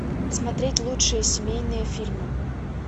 смотреть лучшие семейные фильмы